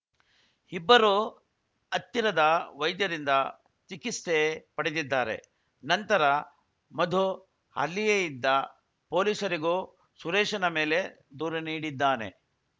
ಇಬ್ಬರೂ ಹತ್ತಿರದ ವೈದ್ಯರಿಂದ ಚಿಕಿಸ್ತೆ ಪಡೆದಿದ್ದಾರೆ ನಂತರ ಮಧು ಅಲ್ಲಿಯೇ ಇದ್ದ ಪೊಲೀಸರಿಗೂ ಸುರೇಶನ ಮೇಲೆ ದೂರು ನೀಡಿದ್ದಾನೆ